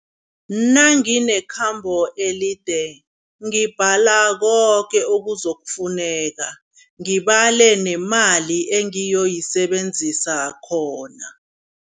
Nanginekhambo elide, ngibhala koke okuzokufuneka, ngibale nemali engiyoyisebenzisa khona.